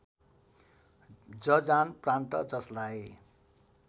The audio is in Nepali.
जजान प्रान्त जस्लाई